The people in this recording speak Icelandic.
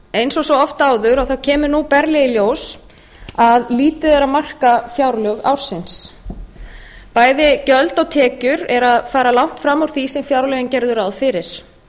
eins og oft áður kemur nú berlega í ljós að lítið er að marka fjárlög ársins bæði gjöld og tekjur fara langt fram úr því sem fjárlögin gerðu ráð fyrir